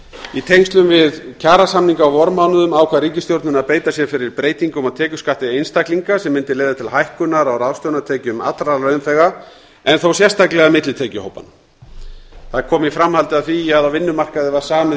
í tengslum við gerð kjarasamninga á vormánuðum ákvað ríkisstjórnin að beita sér fyrir breytingum á tekjuskatti einstaklinga sem mundi leiða til hækkunar á ráðstöfunartekjum allra launþega en þó sérstaklega millitekjuhópanna það kom í framhaldi af því að á vinnumarkaði var samið